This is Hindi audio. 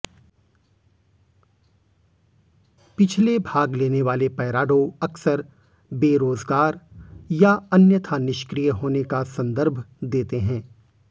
पिछले भाग लेने वाले पैराडो अक्सर बेरोजगार या अन्यथा निष्क्रिय होने का संदर्भ देते हैं